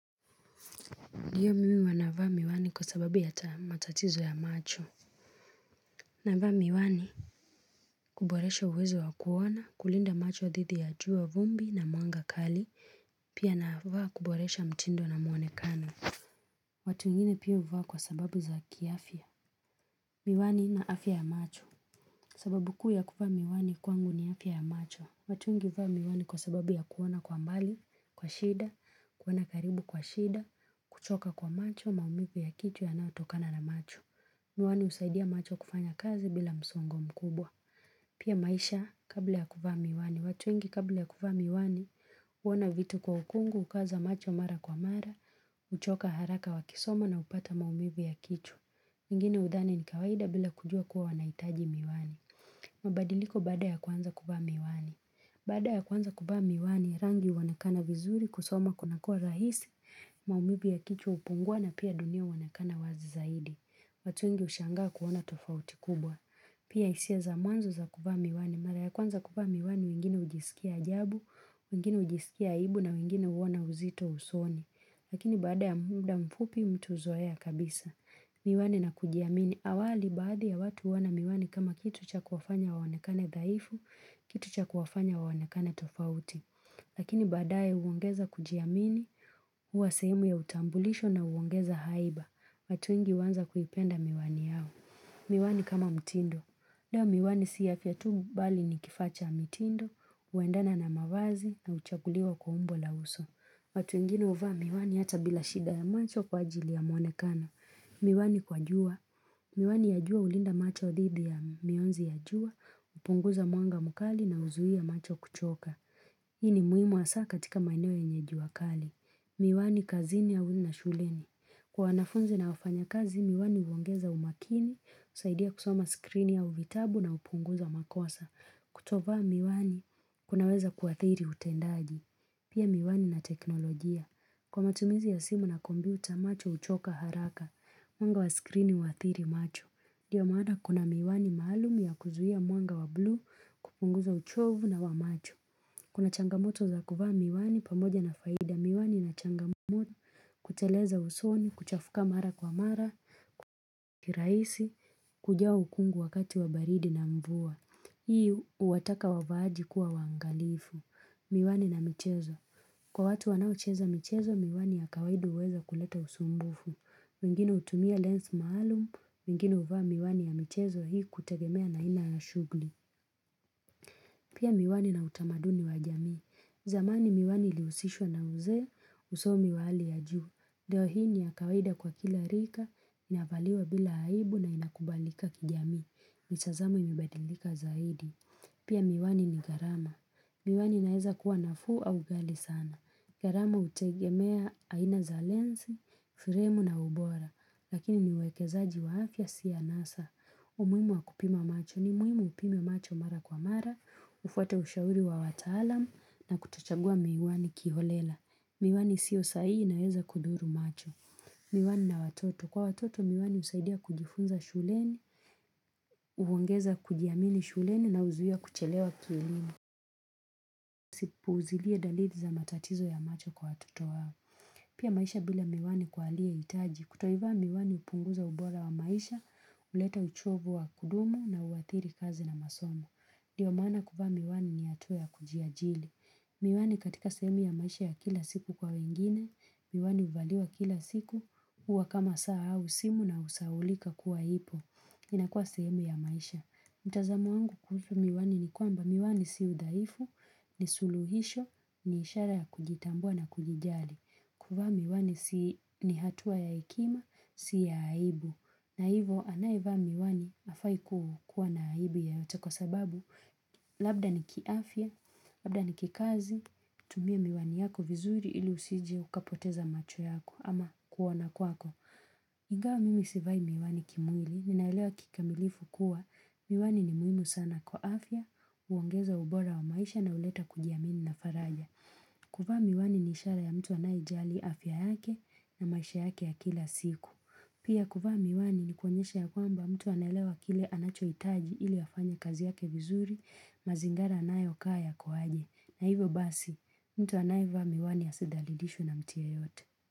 Ndiyo mimi wanavaa miwani kwa sababu ya matatizo ya macho. Navaa miwani kuboresha uwezo wa kuona, kulinda macho dhidi ya juu ya vumbi na mwanga kali, pia navaa kuboresha mtindo na mwonekano. Watu wengine pia huvaa kwa sababu za kiafya. Miwani na afya ya macho. Sababu kuu ya kuvaa miwani kwangu ni afya ya macho. Watu wengi huvaa miwani kwa sababu ya kuona kwa mbali, kwa shida, kuona karibu kwa shida, kuchoka kwa macho, maumivu ya kichwa yanayotokana na macho. Miwani husaidia macho kufanya kazi bila msongo mkubwa. Pia maisha, kabla ya kuvaa miwani. Watu wengi kabla ya kuvaa miwani, huona vitu kwa ukungu, hukaza macho mara kwa mara, huchoka haraka wakisoma na hupata maumivu ya kichwa. Wengine hudhani ni kawaida bila kujua kuwa wanahitaji miwani. Mabadiliko baada ya kuanza kuvaa miwani. Baada ya kuanza kuvaa miwani, rangi huonekana vizuri kusoma kunakuwa rahisi, maumivu ya kichwa hupungua na pia dunia huonekana wazi zaidi. Watu wengi hushangaa kuona tofauti kubwa. Pia hisia za mwanzo za kuvaa miwani. Mara ya kwanza kuvaa miwani wengine hujisikia ajabu, wengine hujisikia aibu na wengine huona uzito usoni. Lakini baada ya muda mfupi mtu huzoea kabisa. Miwani na kujiamini. Awali baadhi ya watu huona miwani kama kitu cha kuwafanya waonekane dhaifu, kitu cha kuwafanya waonekane tofauti. Lakini baadaye huongeza kujiamini, huwa sehemu ya utambulisho na huongeza haiba. Watu wengi huanza kuipenda miwani yao. Miwani kama mtindo. Leo miwani si afya tu bali ni kifaa cha mitindo, huendana na mavazi na huchaguliwa kwa umbo la uso. Watu wengine huvaa miwani hata bila shida ya macho kwa ajili ya mwonekano. Miwani kwa jua. Miwani ya jua hulinda macho dhidi ya mianzi ya jua, hupunguza mwanga mkali na huzuia macho kuchoka. Hii ni muhimu hasa katika maeneo yenye jua kali. Miwani kazini au na shuleni. Kwa wanafunzi na wafanyakazi, miwani huongeza umakini, husaidia kusoma skrini au vitabu na hupunguza makosa. Kutovaa miwani, kunaweza kuathiri utendaji. Pia miwani na teknolojia. Kwa matumizi ya simu na kompyuta macho huchoka haraka, mwanga wa skrini huathiri macho. Ndiyo maana kuna miwani maalumu ya kuzuia mwanga wa blue, kupunguza uchovu na wa macho. Kuna changamoto za kuvaa miwani pamoja na faida. Miwani ina changamoto kuteleza usoni, kuchafuka mara kwa mara, kwa kirahisi, kujaa ukungu wakati wa baridi na mvua. Hii huwataka wavaaji kuwa waangalifu. Miwani na michezo. Kwa watu wanaocheza michezo, miwani ya kawaidi huweza kuleta usumbufu wengine hutumia lens maalum, wengine huvaa miwani ya michezo hii kutegemea na aina ya shughuli. Pia miwani na utamaduni wa jamii. Zamani miwani ilihusishwa na uzee, usomi wa hali ya juu. Leo hii ni kawaida kwa kila rika, inavaliwa bila aibu na inakubalika kijamii. Mitazamo imebadilika zaidi. Pia miwani ni garama. Miwani inaeza kuwa nafuu au ghali sana. Gharama hutegemea aina za lens, fremu na ubora. Lakini ni waekezaji wa afya si anasa. Umuhimu wa kupima macho ni muhimu upime macho mara kwa mara, ufuate ushauri wa wataalamu na kutochagua miwani kiholela. Miwani isiyo sahihi inaweza kudhuru macho. Miwani na watoto. Kwa watoto miwani husaidia kujifunza shuleni, huongeza kujiamini shuleni na huzuia kuchelewa kielimu. Si upuuzilie dalili za matatizo ya macho kwa watoto wao. Pia maisha bila miwani kwa waliohitaji, kutoivaa miwani hupunguza ubora wa maisha, huleta uchovu wa kudumu na huathiri kazi na masomo. Ndiyo maana kuvaa miwani ni hatua ya kujiajiri. Miwani katika sehemu ya maisha ya kila siku kwa wengine, miwani huvaliwa kila siku, huwa kama saa au simu na husahaulika kuwa ipo. Inakuwa sehemu ya maisha. Mtazamo wangu kuhusu miwani ni kwamba miwani si udhaifu, ni suluhisho, ni ishara ya kujitambua na kujijali. Kuvaa miwani ni hatua ya hekima, si ya aibu. Na hivo anayevaa miwani hafai kukuwa na aibu yoyote kwa sababu labda ni kiafya, labda ni kikazi, tumia miwani yako vizuri ili usije ukapoteza macho yako ama kuona kwako. Ingawa mimi sivai miwani kimwili, ninaelewa kikamilifu kuwa, miwani ni muhimu sana kwa afya, huongeza ubora wa maisha na huleta kujiamini na faraja. Kuvaa miwani ni ishara ya mtu anayejali afya yake na maisha yake ya kila siku. Pia kuvaa miwani ni kuonyesha ya kwamba mtu anaelewa kile anachohitaji ili afanye kazi yake vizuri, mazingara anayokaa yako aje. Na hivo basi, mtu anayevaa miwani asidhalilishwe na mtu yeyote.